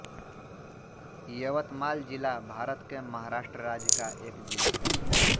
यवतमाल ज़िला भारत के महाराष्ट्र राज्य का एक ज़िला है